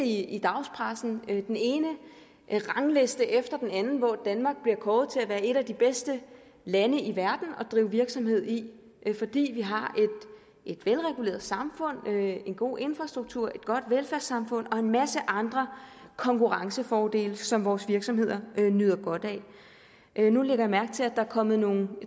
i dagspressen læse den ene rangliste efter den anden hvor danmark bliver kåret til at være et af de bedste lande i verden at drive virksomhed i fordi vi har et velreguleret samfund en god infrastruktur et godt velfærdssamfund og en masse andre konkurrencefordele som vores virksomheder nyder godt af nu lægger jeg mærke til at der er kommet nogle